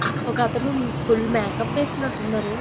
ఒక అతను full makeup వేసినట్టు ఉన్నారు.